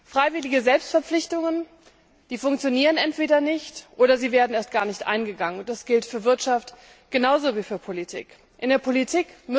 Freiwillige Selbstverpflichtungen funktionieren entweder nicht oder sie werden erst gar nicht eingegangen, und das gilt für die Wirtschaft genauso wie für die Politik.